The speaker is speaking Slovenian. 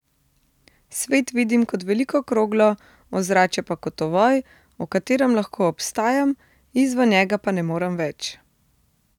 Svet vidim kot veliko kroglo, ozračje pa kot ovoj, v katerem lahko obstajam, izven njega pa ne morem več.